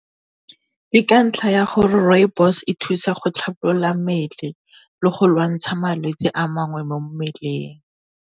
Ka ntlha ya gore rooibos e thusa go tlhabolola mmele le go lwantsha malwetse a mangwe mo mmeleng.